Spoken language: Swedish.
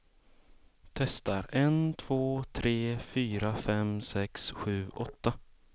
Testar en två tre fyra fem sex sju åtta.